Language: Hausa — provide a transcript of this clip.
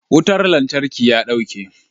Wutar lantarki ya dauke.